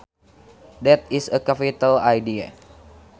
That is a capital idea